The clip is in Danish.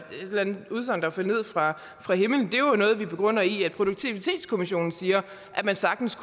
andet udsagn der bare faldt ned fra fra himlen det er noget vi begrunder i at produktivitetskommissionen siger at man sagtens